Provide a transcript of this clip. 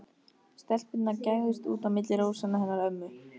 Stelpurnar gægðust út á milli rósanna hennar ömmu.